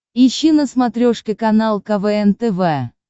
ищи на смотрешке канал квн тв